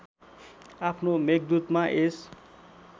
आफ्नो मेघदूतमा यस